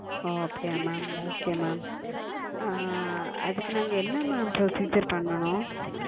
அப்படியா Ma'amOkay Ma'am ஆஹ் அதுக்கு நாங்க என்ன Ma'amProcedure பண்ணனும்